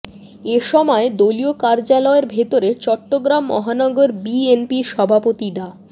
এ সময় দলীয় কার্যালয়ের ভেতরে চট্টগ্রাম মহানগর বিএনপির সভাপতি ডা